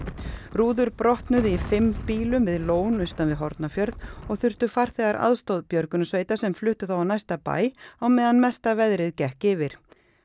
rúður brotnuðu í fimm bílum við lón austan við Hornafjörð og þurftu farþegar aðstoð björgunarsveita sem fluttu þá á næsta bæ á meðan mesta veðrið gekk yfir